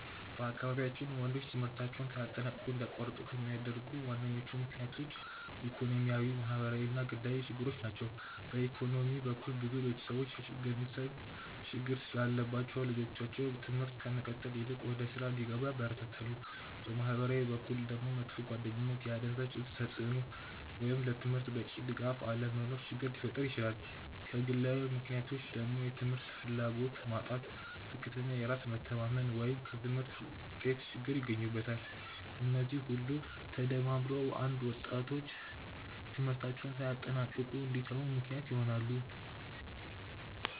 በአካባቢያችን ወንዶች ትምህርታቸውን ሳያጠናቅቁ እንዲያቋርጡ ከሚያደርጉ ዋነኞቹ ምክንያቶች ኢኮኖሚያዊ፣ ማህበራዊ እና ግላዊ ችግሮች ናቸው። በኢኮኖሚ በኩል ብዙ ቤተሰቦች የገንዘብ ችግር ስላለባቸው ልጆቻቸው ትምህርት ከመቀጠል ይልቅ ወደ ሥራ እንዲገቡ ያበረታታሉ። በማህበራዊ በኩል ደግሞ መጥፎ ጓደኝነት፣ የአደንዛዥ እፅ ተጽእኖ ወይም ለትምህርት በቂ ድጋፍ አለመኖር ችግር ሊፈጥር ይችላል። ከግላዊ ምክንያቶች ደግሞ የትምህርት ፍላጎት ማጣት፣ ዝቅተኛ የራስ መተማመን ወይም የትምህርት ውጤት ችግር ይገኙበታል። እነዚህ ሁሉ ተደማምረው አንዳንድ ወጣቶች ትምህርታቸውን ሳያጠናቅቁ እንዲተዉ ምክንያት ይሆናሉ።